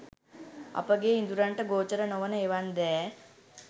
අපගේ ඉඳුරන්ට ගෝචර නොවන එවන් දෑ